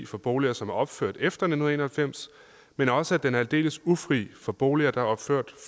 for boliger som er opført efter nitten en og halvfems men også at den er aldeles ufri for boliger der er opført